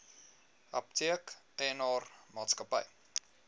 apteek eienaar maatskappy